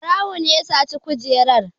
Ɓarawo ne ya saci kujerar.